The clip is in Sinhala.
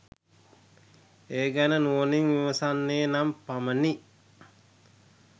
ඒ ගැන නුවණින් විමසන්නේ නම් පමණි.